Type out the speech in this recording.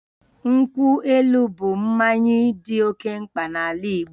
Nkwụ elu bụ mmanya dị oke mkpa n'ala Igbo